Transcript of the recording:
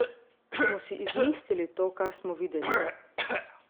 Smo si izmislili to, kar smo videli?